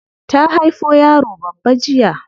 Ta haifo yaro babba jiya.